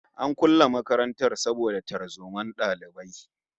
An kulle makarantar saboda tarzomar dalibai